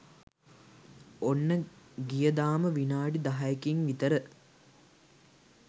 ඔන්න ගියදාම විනාඩි දහයකින් විතර